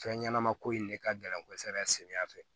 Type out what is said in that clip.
Fɛn ɲɛnama ko in de ka gɛlɛn kosɛbɛ samiya fɛ